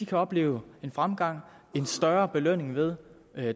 kan opleve en fremgang en større belønning ved